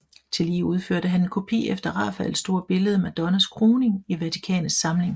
Tillige udførte han en kopi efter Rafaels store billede Madonnas Kroning i Vatikanets samling